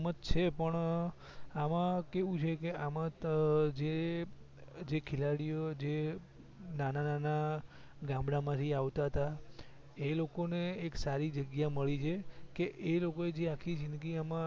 છે પણ આમાં કેવું છે કે આમા ત જે જે ખેલાડી જે નાના નાના ગામડા માંથી આવતાતા એ લોકો ને એક સારી જગ્યા મળી છે કે એ લોકો જે આખી જીદગી આમાં